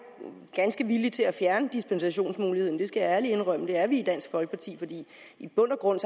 ganske villig til at fjerne dispensationsmuligheden det skal jeg ærligt indrømme at vi er i dansk folkeparti for i bund og grund